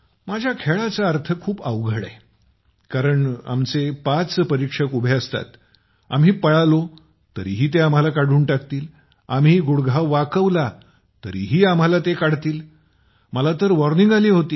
माझा खेळ खूप अवघड आहे कारण आमचे पाच परीक्षक उभे असतात आम्ही पळालो तरीही ते आम्हाला काढून टाकतील आम्ही गुढघा वाकवला तरी आम्हाला ते काढतील मला तर वार्निंग आली होती